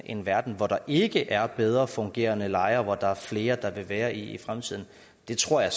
en verden hvor der ikke er bedre fungerende lejre hvor der er flere der vil være i fremtiden det tror jeg